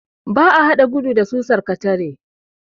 Ba a haɗa gudu da susar katara.